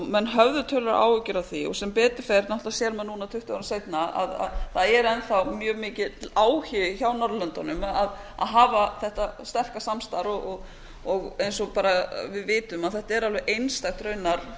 menn höfðu töluverðar áhyggjur af því sem betur fer náttúrlega sér maður núna tuttugu árum seinna að það er enn þá mjög mikill áhugi hjá norðurlöndunum að hafa þetta sterka samstarf eins og bara við vitum þetta er alveg einstakt raunar